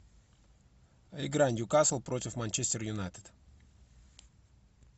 игра ньюкасл против манчестер юнайтед